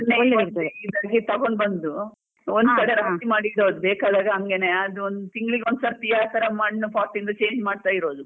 ಅದನ್ನೇ ಇಲ್ಲಿಗೆ ತೊಗೊಂಡು ಬಂದು ಕಡೆ ರಾಶಿ ಮಾಡಿ ಇಡುದು ಬೇಕಾದಾಗ ಹಂಗೆನೇ ಅದ್ದೊಂದು ತಿಂಗ್ಳಿಗೆ ಒಂದ್ ಸರ್ತಿ ಆತರ ಮಣ್ಣು pot ಇಂದ change ಮಾಡ್ತಾ ಇರೋದು.